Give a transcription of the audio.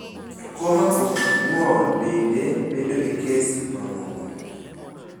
Koma to kod ng`ol bende bedo e kes mamoko.